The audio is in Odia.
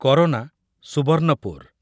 କରୋନା ସୁବର୍ଣ୍ଣପୁର